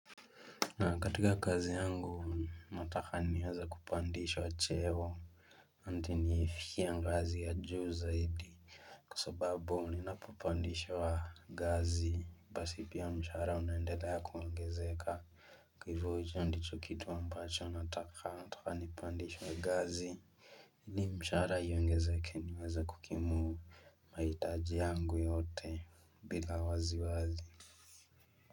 Na katika kazi yangu nataka niweze kupandishwa cheo hadi nifikie ngazi ya juu zaidi Kwa sababu ninapo pandishwa ngazi basi pia mshahara unaendelea kuangezeka. Kwa hivyo hicho ndicho kitu ambacho nataka nataka nipandishwe ngazi ili mshahara iongezeke niweze kukimu mahitaji yangu yote bila wasi wasi.